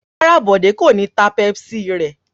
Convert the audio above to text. Rárá, Bọ̀dé kò ní ta Pepsi rẹ̀.